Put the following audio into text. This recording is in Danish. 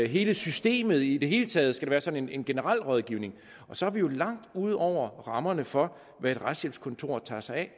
hele systemet i det hele taget skal der være sådan en generel rådgivning og så er vi jo langt ude over rammerne for hvad et retshjælpskontor tager sig af